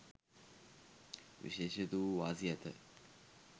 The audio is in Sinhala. විශේෂිත වූ වාසි ඇත.